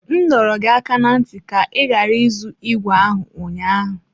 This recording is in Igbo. M dọrọ gị aka ná ntị ka ị ghara ịzụ ígwè ahụ ụnyaahụ!